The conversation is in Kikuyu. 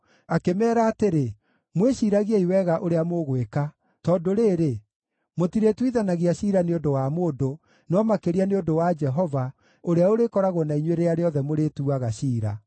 Akĩmeera atĩrĩ, “Mwĩciiragiei wega ũrĩa mũgwĩka, tondũ rĩrĩ, mũtirĩtuithanagia ciira nĩ ũndũ wa mũndũ, no makĩria nĩ ũndũ wa Jehova, ũrĩa ũrĩkoragwo na inyuĩ rĩrĩa rĩothe mũrĩtuaga ciira.